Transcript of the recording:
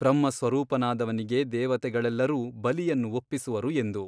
ಬ್ರಹ್ಮಸ್ವರೂಪನಾದವನಿಗೆ ದೇವತೆಗಳೆಲ್ಲರೂ ಬಲಿಯನ್ನು ಒಪ್ಪಿಸುವರು ಎಂದು.